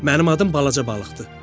Mənim adım balaca balıqdır.